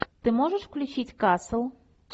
ты можешь включить касл